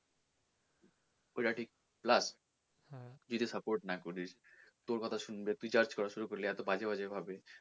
ওটা ঠিক plus তুই যদি support না করিস তোর কথা শুনবে তুই judge করা শুরু করলি এতো বাজে বাজে ভাবে,